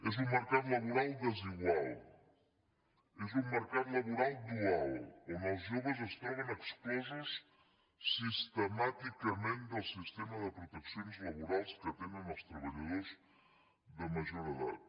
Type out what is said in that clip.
és un mercat laboral desigual és un mercat laboral dual on els joves es troben exclosos sistemàticament del sistema de proteccions laborals que tenen els treballadors de major edat